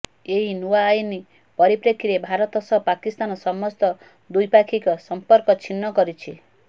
ଏହି ନୂଆ ଆଇନ ପରିପ୍ରେକ୍ଷୀରେ ଭାରତ ସହ ପାକିସ୍ତାନ ସମସ୍ତ ଦ୍ୱିପାକ୍ଷିକ ସମ୍ପର୍କ ଛିନ୍ନ କରିଛି